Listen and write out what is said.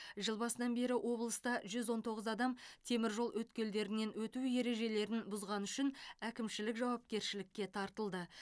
жыл басынан бері облыста жүз он тоғыз адам теміржол өткелдерінен өту ережелерін бұзғаны үшін әкімшілік жауапкершілікке тартылды